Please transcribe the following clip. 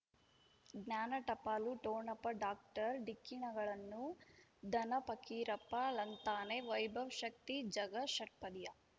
ಜ್ಞಾನ ಟಪಾಲು ಠೊಣಪ ಡಾಕ್ಟರ್ ಢಿಕ್ಕಿ ಣಗಳನು ಧನ ಫಕೀರಪ್ಪ ಳಂತಾನೆ ವೈಭವ್ ಶಕ್ತಿ ಝಗಾ ಷಟ್ಪದಿಯ